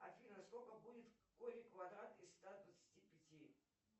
афина сколько будет корень квадратный из ста двадцати пяти